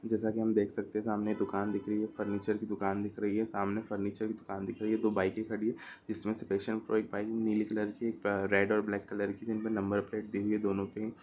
जैसा कि हम देख सकते हैं सामने एक दुकान दिख रही है फर्नीचर की दुकान दिख रही है सामने फर्नीचर की दुकान दिख रही है दो बाइके खड़ी हैं जिसमें से पैशनप्रो एक बाइक नीली कलर की एक अ रेड और ब्लैक कलर की जिनमें नंबर प्लेट दी हुई है दोनों पे ही --